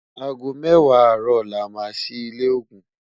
àgó méwàá àró là má sí ilé ògún